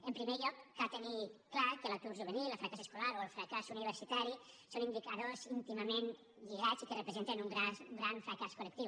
en primer lloc cal tenir clar que l’atur juvenil el fracàs escolar o el fracàs universitari són indicadors íntimament lligats i que representen un gran fracàs col·lectiu